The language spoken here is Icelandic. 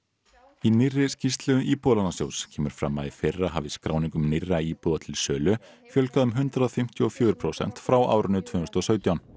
í nýrri skýrslu Íbúðalánasjóðs kemur fram að í fyrra hafi skráningum nýrra íbúða til sölu fjölgað um hundrað fimmtíu og fjögur prósent frá árinu tvö þúsund og sautján